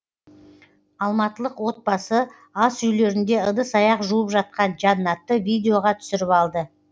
алматылық отбасы асүйлерінде ыдыс аяқ жуып жатқан жанатты видеоға түсіріп алды